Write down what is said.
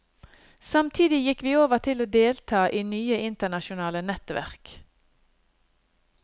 Samtidig gikk vi over til å delta i nye internasjonale nettverk.